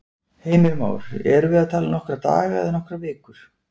Heimir Már: Erum við að tala um nokkra daga eða nokkrar vikur?